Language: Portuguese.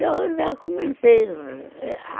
Eu já comentei